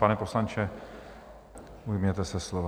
Pane poslanče, ujměte se slova.